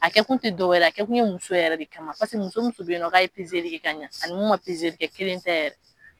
A kɛ kun tɛ dɔ wɛrɛ ye, a kɛ kun ye muso yɛrɛ de kama paseke muso muso bɛ yen nɔ ka ye kɛ ka ɲɛ ani mun ma kɛ kelen tɛ yɛrɛ.